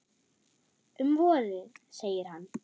Um vorið, segir hann.